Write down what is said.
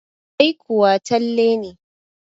Ai kuwa Talle ne.